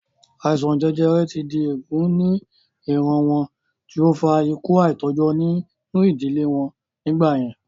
Àìsàn jẹjẹrẹ ti di èègún ní ìran wọn tí ó fa ikú àìtọ́jọ́ nínú ìdílé wọn nígbà yẹn